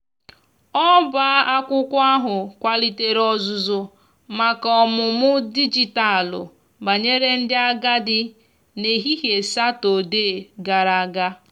ọba akwụkwo ahu kwalitere ozuzu maka ọmụmụ dịjịtalụ banyere ndi agadi n'ehihie satọde gara aga.